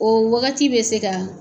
O wagati bɛ se ka